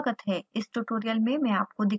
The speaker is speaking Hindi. इस tutorial में मैं आपको दिखाऊँगी